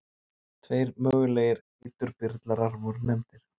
Tveir mögulegir eiturbyrlarar voru nefndir.